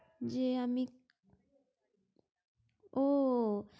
যে আমি ও